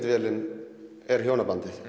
vélin er hjónabandið